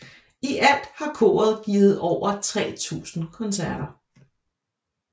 I alt har koret givet over 3000 koncerter